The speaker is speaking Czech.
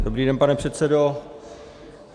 Dobrý den, pane předsedo.